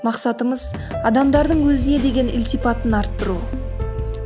мақсатымыз адамдардың өзіне деген ілтипатын арттыру